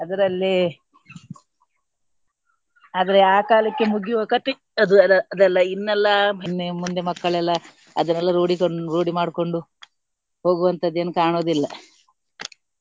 ಅದರಲ್ಲಿ ಆದ್ರೆ ಆ ಕಾಲಕ್ಕೆ ಮುಗಿಯುವ ಕತೆ ಅದು ಎಲ್ಲ ಅದೆಲ್ಲ ಇನ್ನೆಲ್ಲ ನಿನ್ನೆ ಮೊನ್ನೆ ಮಕ್ಕಳೆಲ್ಲಾ ಅದನ್ನೆಲ್ಲ ರೂಢಿಕೊಂಡು ರೂಢಿ ಮಾಡ್ಕೊಂಡು ಹೋಗುವಂತದ್ದು ಏನು ಕಾಣುವುದಿಲ್ಲ.